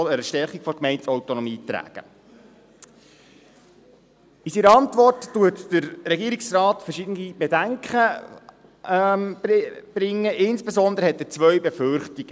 In seiner Antwort bringt der Regierungsrat verschiedene Bedenken vor, insbesondere hat er zwei Befürchtungen: